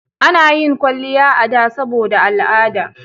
A na yin kwalliya a da saboda al'ada